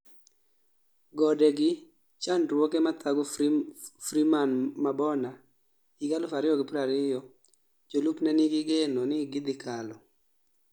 Gode gi chandruoge mathago Freeman Mabona 2020 jolupne nigi geno ni gidhi kalo